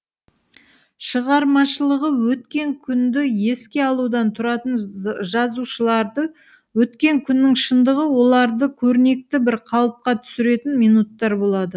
шығармашылығы өткен күнді еске алудан тұратын жазушыларды өткен күннің шындығы оларды көрнекті бір қалыпқа түсіретін минуттар болады